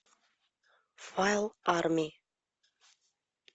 файл арми